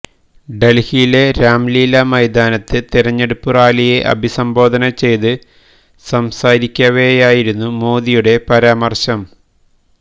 ഡല്ഹിയിലെ രാംലീല മെെതാനത്ത് തിരഞ്ഞെടുപ്പ് റാലിയെ അഭിസംബോധന ചെയ്ത് സംസാരിക്കവെയായിരുന്നു മോദിയുടെ പരാമര്ശം